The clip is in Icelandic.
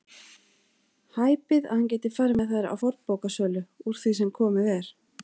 Hæpið að hann geti farið með þær á fornbókasölu úr því sem komið er.